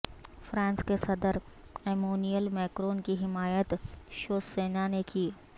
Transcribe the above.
France کے صدر Emmanuel Macron کی حمایت شیو سینا نے کی